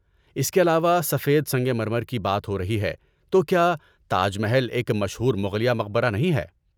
اس کے علاوہ، سفید سنگ مرمر کی بات ہو رہی ہے تو، کیا تاج محل ایک مشہور مغلیہ مقبرہ نہیں ہے؟